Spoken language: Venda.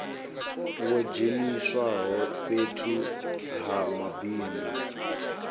wo dzheniswaho fhethu ha mabindu